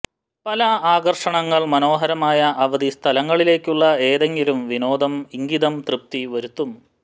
പല ആകർഷണങ്ങൾ മനോഹരമായ അവധി സ്ഥലങ്ങളിലേക്കുള്ള ഏതെങ്കിലും വിനോദ ഇംഗിതം തൃപ്തി വരുത്തും